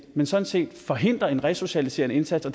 men sådan set forhindrer en resocialiserende indsats og